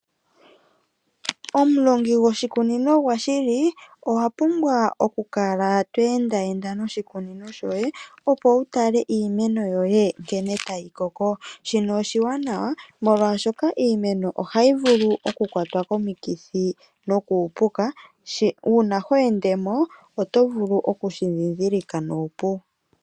Omulongi gwoshikunino gwa shili, owa pumbwa oku kala to endaenda noshikunino shoye opo wu tale nkene iimeno yoye tayi koko. Shino oshiwanawa molwaashoka iimeno ohayi vulu oku kwatwa komikithi eta uupuka. Uuna ho ende mo, oto vulu okushi ndhindhilika nuupu.